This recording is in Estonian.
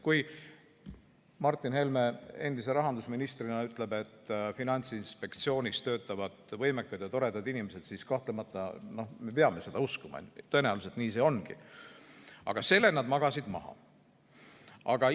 Kui Martin Helme endise rahandusministrina ütleb, et Finantsinspektsioonis töötavad võimekad ja toredad inimesed, siis kahtlemata me peame seda uskuma, tõenäoliselt nii see ongi, aga selle juhtumi magasid nad maha.